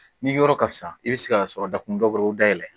Ni yɔrɔ ka fisa i bɛ se ka sɔrɔ dakun dɔ dayɛlɛ